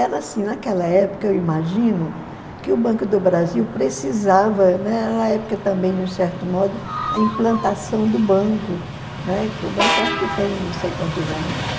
Era assim, naquela época, eu imagino, que o Banco do Brasil precisava, né, era a época também, de um certo modo, a implantação do banco, né, que o banco acho que tem não sei quantos anos mais.